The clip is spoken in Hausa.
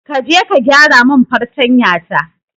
Kaje ka gyaramin fartanya ta.